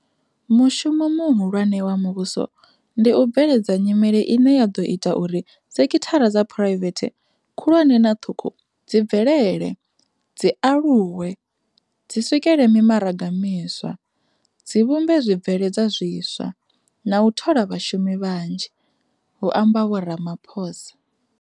Mushumo mu hulwane wa muvhuso ndi u bveledza nyimele ine ya ḓo ita uri sekithara dza phuraivethe khulwane na ṱhukhu dzi bvelele, dzi aluwe, dzi swikele mimaraga miswa, dzi vhumbe zwi bveledzwa zwiswa, na u thola vhashumi vhanzhi, hu amba Vho Ramaphosa.